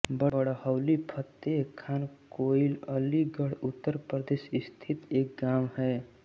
बड़हौली फतेह खान कोइल अलीगढ़ उत्तर प्रदेश स्थित एक गाँव है